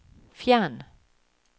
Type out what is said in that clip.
fjern